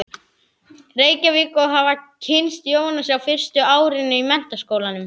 Reykjavík og hafa kynnst Jónasi á fyrsta árinu í Menntaskólanum.